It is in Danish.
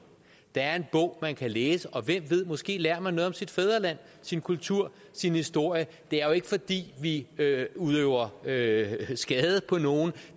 der er en bog man kan læse og hvem ved måske lærer man noget om sit fædreland sin kultur sin historie det er jo ikke fordi vi udøver skade skade på nogen